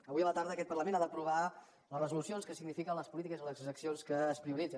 avui a la tarda aquest parlament ha d’aprovar les resolucions que signifiquen les polítiques i les accions que es prioritzen